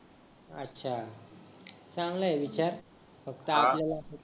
अच्छा चांगलाय विचार फकत आपल्याला